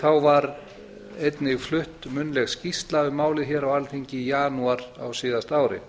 þá var einnig flutt munnleg skýrsla um málið hér á alþingi í janúar á síðasta ári